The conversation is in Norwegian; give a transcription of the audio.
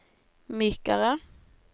mykere